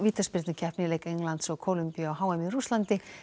á leik Englands og Kólumbíu á h m í Rússlandi